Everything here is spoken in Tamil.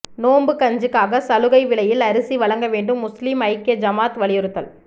நோன்பு கஞ்சிக்காக சலுகை விலையில் அரிசி வழங்க வேண்டும் முஸ்லிம் ஐக்கிய ஜமாத் வலியுறுத்தல்